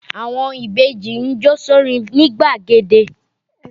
Àwọn ìbejì ń jó sórin nigbàgede